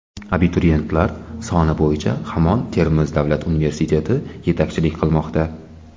Abituriyentlar soni bo‘yicha hamon Termiz davlat universiteti yetakchilik qilmoqda.